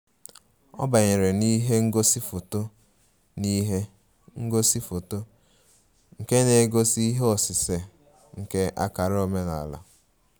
Ọ banyere n'ihe ngosi foto n'ihe ngosi foto nke na-egosi ihe osise nke akara omenala